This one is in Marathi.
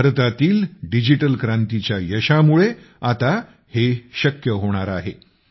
भारतातील डिजिटल क्रांतीच्या यशामुळे आता हे शक्य होणार आहे